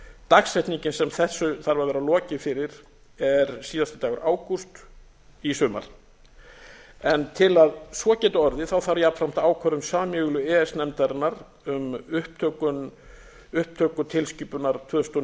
dagsetningin sem þessu þarf að vera lokið fyrir er síðasti dagur ágúst í sumar til að svo geti orðið þarf jafnframt ákvörðun sameiginlegu e e s nefndarinnar um upptöku tilskipunar tvö þúsund og